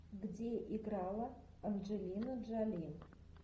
где играла анджелина джоли